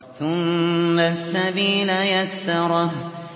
ثُمَّ السَّبِيلَ يَسَّرَهُ